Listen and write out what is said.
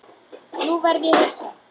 Nú verð ég hissa.